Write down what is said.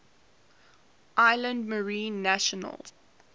islands marine national